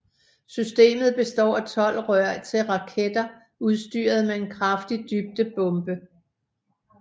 Systemet består af tolv rør til raketter udstyret med en kraftig dybdebombe